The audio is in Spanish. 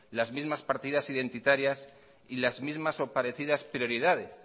las mismas partidas identitarias y las mismas o parecidas prioridades